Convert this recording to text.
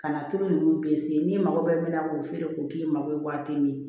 Ka na tulu ninnu n'i mago bɛ min na k'o feere k'o k'i mago ye waati min na